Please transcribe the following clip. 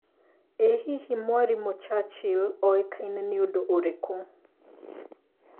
ĩ hihi Mwarimũ Churchill oĩkaĩne nĩ ũndu ũrikũ